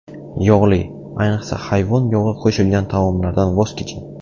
Yog‘li, ayniqsa hayvon yog‘i qo‘shilgan taomlardan voz keching.